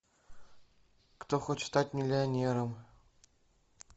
кто хочет стать миллионером